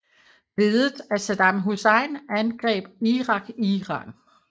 Ledet af Saddam Hussein angreb Irak Iran